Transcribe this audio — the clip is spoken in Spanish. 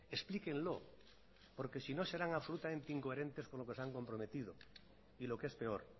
explíquenlo porque sino serán absolutamente incoherentes con lo que se han comprometido y lo que es peor